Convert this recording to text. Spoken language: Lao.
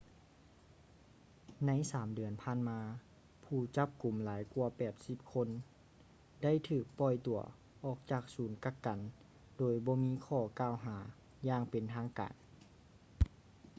ໃນ 3 ເດືອນຜ່ານມາ ຜູ້ຈັບກຸມຫຼາຍກວ່າ 80 ຄົນໄດ້ຖືກປ່ອຍຕົວອອກຈາກສູນກັກກັນໂດຍບໍ່ມີຂໍ້ກ່າວຫາຢ່າງເປັນທາງການ